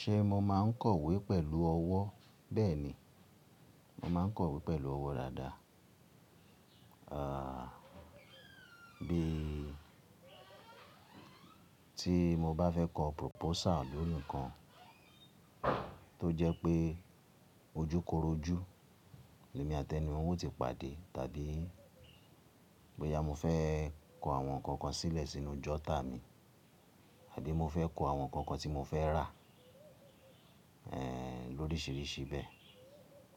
Ṣé mo máa ń kọ̀wé pẹ̀lú ọwọ́? Bẹ́ẹ̀ ni, mo máa ń kọ̀wé pẹ̀lú ọwọ́ dáadáa. Bí tí mo bá fẹ́ kọ proposal lórí nǹkan tó jẹ́ pé ojú koró ojú, èmi àti ẹni wọn ó ti pàdé. Tàbí bóyá mo fẹ́ kọ àwọn kọọkan sílẹ̀ sínú jota mi, àdí mo fẹ́ kọ àwọn kọọkan tí mo fẹ́ rà lóríṣiríṣi bẹ̀ẹ̀,